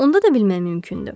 Onda da bilmək mümkündür.